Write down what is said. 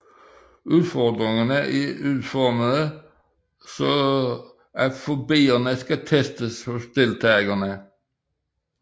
Udfordringerne er udformede således at fobierne skal testes hos deltagerne